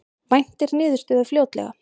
Væntir niðurstöðu fljótlega